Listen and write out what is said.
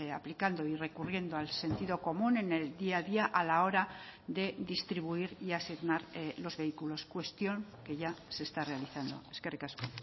aplicando y recurriendo al sentido común en el día a día a la hora de distribuir y asignar los vehículos cuestión que ya se está realizando eskerrik asko